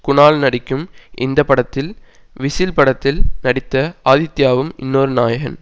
குணால் நடிக்கும் இந்த படத்தில் விசில் படத்தில் நடித்த ஆதித்யாவும் இன்னொரு நாயகன்